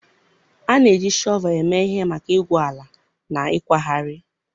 A na-eji shọvel eme ihe maka igwu ala na ịkwagharị.